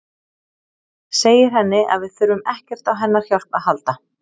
Segir henni að við þurfum ekkert á hennar hjálp að halda.